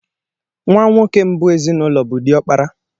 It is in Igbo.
Nwa nwoke mbụ n'ezinụlọ bụ diokpara.